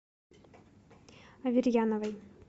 аверьяновой